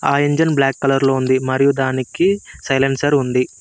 ఆ engine black colour లో ఉంది మరియు దానికి సైలెన్సర్ ఉంది.